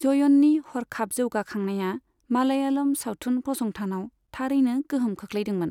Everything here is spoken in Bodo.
जयननि हरखाब जौगाखांनाया मालयालम सावथुन फसंथानाव थारैनो गोहोम खोख्लैदोंमोन।